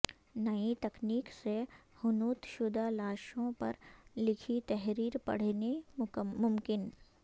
نئی تکنیک سے حنوط شدہ لاشوں پر لکھی تحریر پڑھنی ممکن